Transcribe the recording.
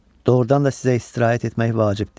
Doğrudan da sizə istirahət etmək vacibdir.